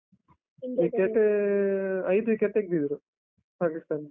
ಐದ್ wicket ತೆಗ್ದಿದ್ದ್ರು, ಪಾಕಿಸ್ತಾನದ್ದು.